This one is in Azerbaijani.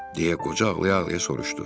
Deyə qoca ağlaya-ağlaya soruşdu.